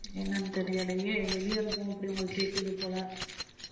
என்னன்னு தெரியலையே வெளிய இருக்கோம் அப்படி உங்களுக்கு கேக்குது போல.